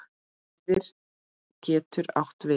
Eyðir getur átt við